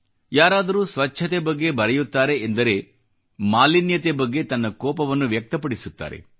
ಯಾರಾದರೂ ಸ್ವಚ್ಛತೆ ಬಗ್ಗೆ ಬರೆಯುತ್ತಾರೆ ಎಂದರೆ ಮಾಲಿನ್ಯತೆ ಬಗ್ಗೆ ತನ್ನ ಕೋಪವನ್ನು ವ್ಯಕ್ತಪಡಿಸುತ್ತಾರೆ